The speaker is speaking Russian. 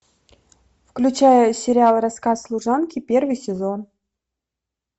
включай сериал рассказ служанки первый сезон